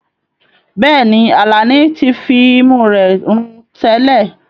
Bẹ́ẹ̀ni, Alani ti fi imú rẹ̀ rùn tẹ́lẹ̀.